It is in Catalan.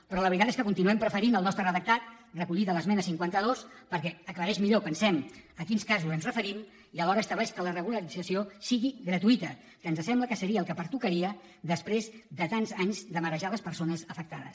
però la veritat és que continuem preferint el nostre redactat recollit en l’esmena cinquanta dos perquè aclareix millor pensem a quins casos ens referim i alhora estableix que la regularització sigui gratuï ta que ens sembla que seria el que pertocaria després de tants anys de marejar les persones afectades